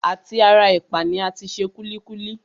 À ti ara ẹ̀pà ni a ti se kúlíkúlí